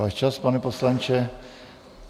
Váš čas, pane poslanče.